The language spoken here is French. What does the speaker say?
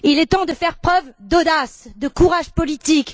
Il est temps de faire preuve d'audace, de courage politique.